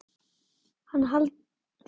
Hann heldur niðri í sér andanum.